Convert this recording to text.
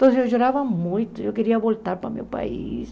Então, eu chorava muito, eu queria voltar para o meu país.